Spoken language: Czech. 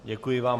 Děkuji vám.